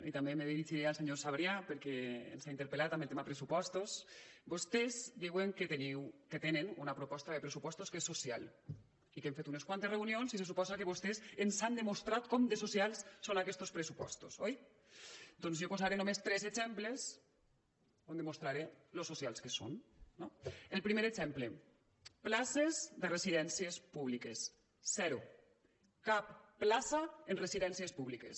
i també me dirigiré al senyor sabrià perquè ens ha interpel·lat amb el tema pressupostos vostès diuen que tenen una proposta de pressupostos que és social i que hem fet unes quantes reunions i se suposa que vostès ens han demostrat com de socials són aquests pressupostos oi doncs jo posaré només tres exemples on demostraré lo socials són no el primer exemple places de residències públiques zero cap plaça en residències públiques